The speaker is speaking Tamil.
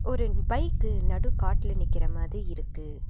ரெண்டு பைக்கு நடுக்காட்ல நிக்கற மாதி இருக்கு.